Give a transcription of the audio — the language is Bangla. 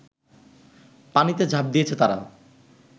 পানিতে ঝাঁপ দিয়েছে তারা